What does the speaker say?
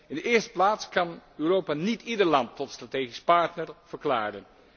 In de eerste plaats kan Europa niet ieder land tot strategisch partner verklaren.